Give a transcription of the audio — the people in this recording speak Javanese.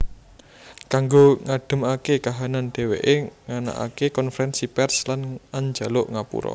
Kanggo ngadhemaké kahanan dhèwèké nganakaké konfrènsi pèrs lan anjaluk ngapura